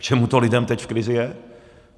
K čemu to lidem teď v krizi je?